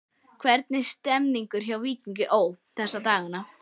Hvernig er stemningin hjá Víkingi Ó. þessa dagana?